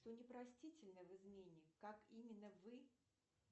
что непростительно в измене как именно вы